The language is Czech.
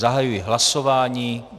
Zahajuji hlasování.